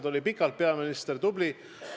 Ta oli pikalt peaminister, väga tubli!